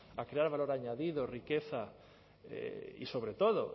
a crear valor añadido riqueza y sobre todo